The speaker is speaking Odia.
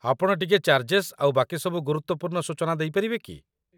ଆପଣ ଟିକିଏ ଚାର୍ଜେସ୍ ଆଉ ବାକିସବୁ ଗୁରୁତ୍ୱପୂର୍ଣ୍ଣ ସୂଚନା ଦେଇପାରିବେ କି?